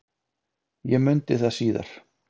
Ég mundi það síðar.